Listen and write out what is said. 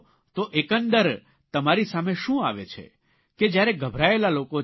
તો એકંદર તમારી સામે શું આવે છે કે જયારે ગભરાયેલા લોકો છે